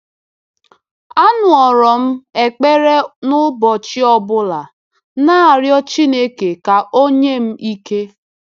‘Anụrụ m ekpere n’ụbọchị ọ bụla, na-arịọ Chineke ka o nye m ike.